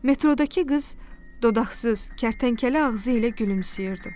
Metrodakı qız dodaqsız, kərtənkələ ağzı ilə gülümsəyirdi.